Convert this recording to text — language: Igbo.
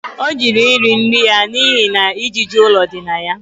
Ọ jụrụ iri nri ya n'ihi na ijiji ụlọ dị na ya